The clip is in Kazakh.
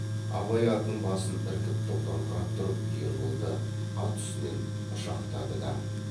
абай атының басын іркіп тоқтаңқырап тұрып ерболды ат үстінен құшақтады да